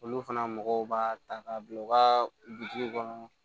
Olu fana mɔgɔw b'a ta k'a bila u ka biriki kɔnɔ